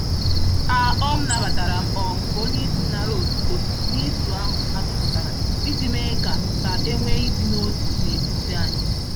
A um nabataram um ka onyeisi nara otuto nizu ahụ atụpụtara iji mee ka ka enwe ịdị n'otu n'etiti anyị